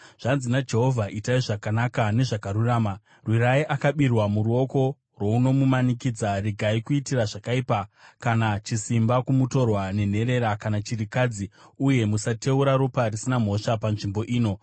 Zvanzi naJehovha: Itai zvakanaka nezvakarurama. Rwirai akabirwa muruoko rwounomumanikidza. Regai kuitira zvakaipa kana chisimba kumutorwa nenherera kana chirikadzi, uye musateura ropa risina mhosva panzvimbo ino.